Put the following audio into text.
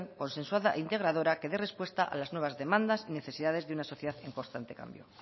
consensuada integradora que dé respuesta a las nuevas demandas y necesidades de una sociedad en constante cambio